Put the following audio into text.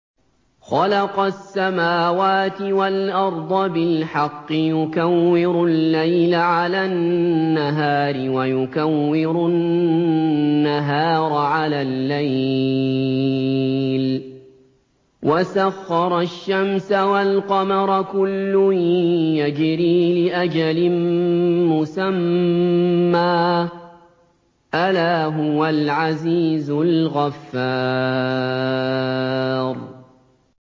خَلَقَ السَّمَاوَاتِ وَالْأَرْضَ بِالْحَقِّ ۖ يُكَوِّرُ اللَّيْلَ عَلَى النَّهَارِ وَيُكَوِّرُ النَّهَارَ عَلَى اللَّيْلِ ۖ وَسَخَّرَ الشَّمْسَ وَالْقَمَرَ ۖ كُلٌّ يَجْرِي لِأَجَلٍ مُّسَمًّى ۗ أَلَا هُوَ الْعَزِيزُ الْغَفَّارُ